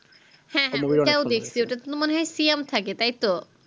হ্যাঁ হ্যাঁ ওটাও দেখছি ওটা তো মনে হয় সিয়াম থাকে তাইতো